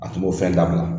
A tun b'o fɛn dabila